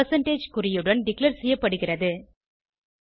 percentage குறியுடன் declare செய்யப்படுகிறது